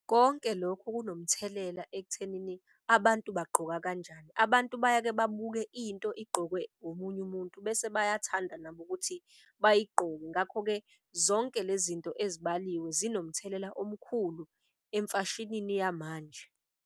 Konke lokhu kunomthelela ekuthenini abantu bagqoka kanjani, abantu bayake babuke into igqokwe omunye umuntu. Bese bayathanda nabo ukuthi bayigqoke ngakho-ke zonke le zinto ezibaliwe zinomthelela omkhulu emfashinini yamanje.